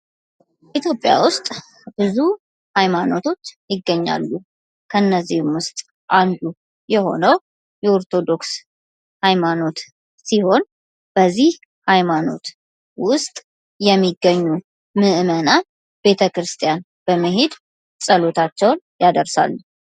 ኢትዮጵያ ውስጥ ብዙ ሃይማኖቶች ይገኛሉ ከነዚህም ውስጥ አንዱ የሆነው የኦርቶዶክስ ሃይማኖት ሲሆን በዚህ ሃይማኖት ውስጥ የሚገኙ ምዕመናን ቤተክርስቲያን በመሄድ ጸሎታቸውን ያደርሳሉ።